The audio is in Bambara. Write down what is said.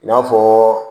I n'a fɔɔ